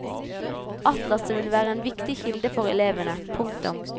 Atlaset vil være en viktig kilde for elevene. punktum